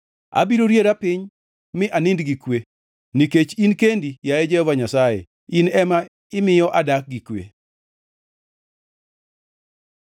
Abiro riera piny mi anind gi kwe, nikech in kendi, yaye Jehova Nyasaye, in ema imiyo adak gi kwe.